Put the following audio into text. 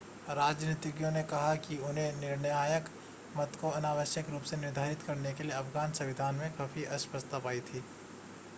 राजनीतिज्ञों ने कहा कि उन्होंने निर्णायक मत को अनावश्यक रूप से निर्धारित करने के लिए अफ़गान संविधान में काफी अस्पष्टता पाई थी